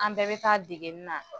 An bɛɛ bɛ taa degenin na.